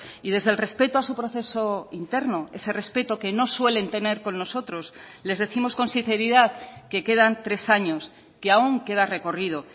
y desde el respeto a su proceso interno ese respeto que no suelen tener con nosotros les décimos con sinceridad que quedan tres años que aún queda recorrido